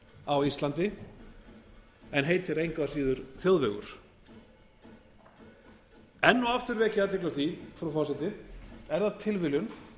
á íslandi en heitir engu að síður þjóðvegur enn og aftur vek ég athygli á því frú forseti er það tilviljun